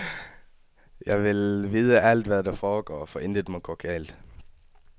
Jeg vil vide alt, hvad der foregår, for intet må gå galt.